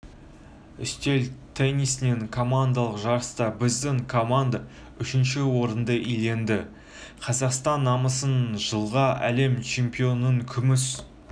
үстел теннисінен командалық жарыста біздің команда үшінші орынды иеленді қазақстан намысын жылғы әлем чемпионатының күміс